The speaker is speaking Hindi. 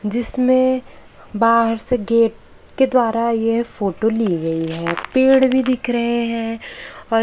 जिसमें बाहर से गेट के द्वारा ये फोटो ली गई है पेड़ भी दिख रहे हैं और--